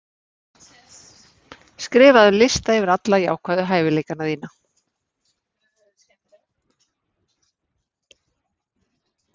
Skrifaðu lista yfir alla jákvæðu hæfileikana þína.